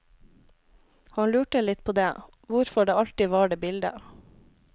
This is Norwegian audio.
Han lurte litt på det, hvorfor det alltid var det bildet.